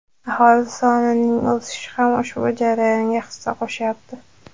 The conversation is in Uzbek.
aholi sonining o‘sishi ham ushbu jarayonga hissa qo‘shyapti.